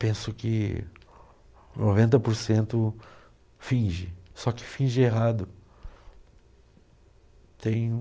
Penso que noventa porcento finge, só que finge errado. Tenho